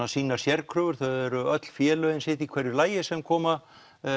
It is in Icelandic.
á sínar sérkröfur þau eru öll félögin sitt í hvoru lagi sem koma